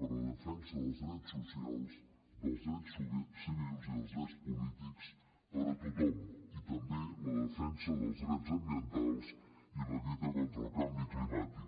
per a la defensa dels drets socials dels drets civils i dels drets polítics per a tothom i també la defensa dels drets ambientals i la lluita contra el canvi climàtic